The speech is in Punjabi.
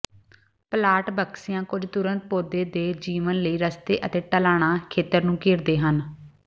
ਪਲਾਂਟ ਬਕਸਿਆਂ ਕੁਝ ਤੁਰੰਤ ਪੌਦੇ ਦੇ ਜੀਵਣ ਲਈ ਰਸਤੇ ਅਤੇ ਢਲਾਣਾ ਖੇਤਰ ਨੂੰ ਘੇਰਦੇ ਹਨ